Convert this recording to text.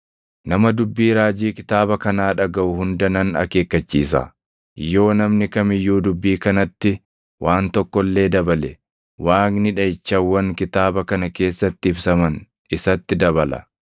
Nama dubbii raajii kitaaba kanaa dhagaʼu hunda nan akeekkachiisa: Yoo namni kam iyyuu dubbii kanatti waan tokko illee dabale, Waaqni dhaʼichawwan kitaaba kana keessatti ibsaman isatti dabala.